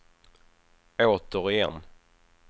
återigen